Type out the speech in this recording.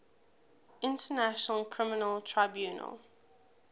international criminal tribunal